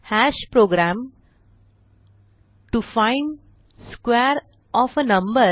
program to find square of a number